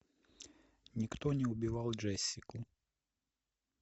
никто не убивал джессику